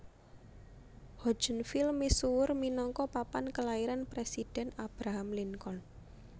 Hodgenville misuwur minangka papan kelairan Presidhèn Abraham Lincoln